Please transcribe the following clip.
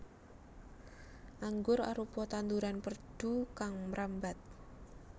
Anggur arupa tanduran perdu kang mrambat